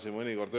Seda küll, jah.